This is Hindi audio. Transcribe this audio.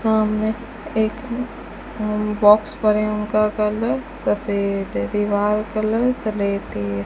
वहां में एक बॉक्स पड़े हैं उनका कलर सफेद है दीवार कलर स्लेटी है।